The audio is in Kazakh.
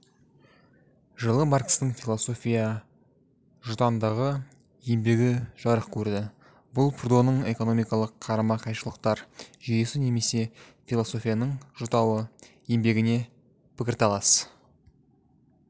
жылы маркстің философия жұтаңдығы еңбегі жарық көрді бұл прудоның экономикалық қарама-қайшылықтар жүйесі немесе философияның жұтауы еңбегіне пікірталас